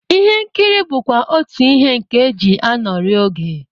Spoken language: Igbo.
Ihe nkiri bụkwa otú ihe nke e ji anọrị oge